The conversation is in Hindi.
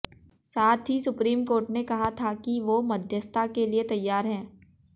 साथ ही सुप्रीम कोर्ट ने कहा था किए वो मध्यस्ता के लिए तैयार हैं